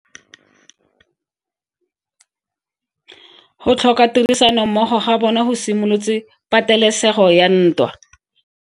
Go tlhoka tirsanommogo ga bone go simolotse patelesego ya ntwa.